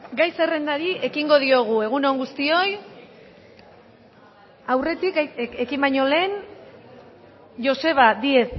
gai zerrendari ekingo diogu egun on guztioi aurretik ekin baino lehen joseba díez